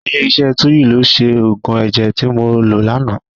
Ilé iṣẹ́ Tuyil ló ṣe òògùn ẹ̀jẹ̀ tí mo lò lánàá.